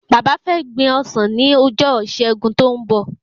Bàbá fé gbin ọsàn ni ojo ìṣẹgun tó n bọ